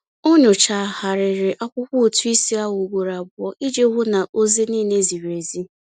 Ọ nyochagharịrị akwụkwọ ụtụisi ahụ ugboro abụọ iji hụ na ozi niile ziri ezi.